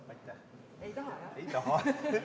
Aitäh!